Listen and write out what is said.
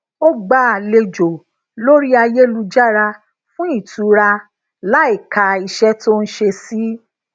ó gba alejo lori ayelujara fun itura láìka iṣẹ tó ń ṣe sí